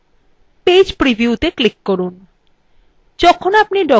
file এর ওপর click করুন এবং page preview click করুন